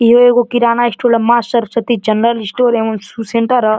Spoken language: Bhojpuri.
इहो एगो किराना स्टोर ह माँ सरस्वती जनरल स्टोर एवं सु सेण्टर ह।